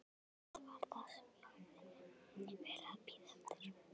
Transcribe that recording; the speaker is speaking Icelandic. Þetta var það sem ég hafði verið að bíða eftir.